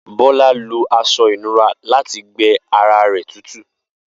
Bola lo aṣọ ìnura lati gbẹ ara rẹ tutu.